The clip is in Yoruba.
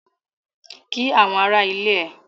Kí àwọn ará ilé ẹ!